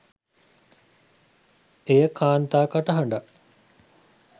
එය කාන්තා කටහඬක්